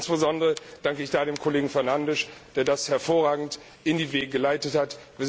Insbesondere danke ich da dem Kollegen Fernandes, der das hervorragend in die Wege geleitet hat.